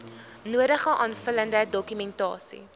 nodige aanvullende dokumentasie